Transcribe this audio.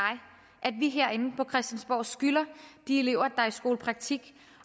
at vi herinde på christiansborg skylder de elever der er i skolepraktik